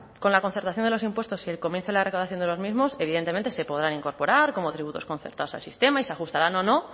con la concertación de los impuestos y el comienzo de la recaudación de los mismos evidentemente se podrán incorporar como tributos concertados al sistema y se ajustarán o no